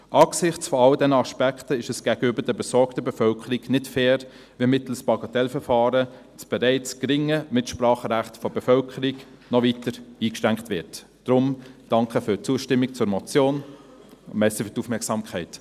Angesichts all dieser Aspekte ist es gegenüber der besorgten Bevölkerung nicht fair, wenn mittels Bagatellverfahren das bereits geringe Mitspracherecht der Bevölkerung noch weiter eingeschränkt wird, daher: danke für die Zustimmung zur Motion und danke für die Aufmerksamkeit.